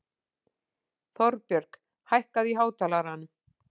Þorbjörg, hækkaðu í hátalaranum.